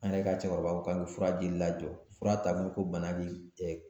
An yɛrɛ ka cɛkɔrɔba ko k'an ke fura jili lajɔ, fura t'a kun ko bana de